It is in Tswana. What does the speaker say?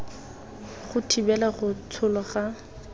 go thibela go tsholwa ga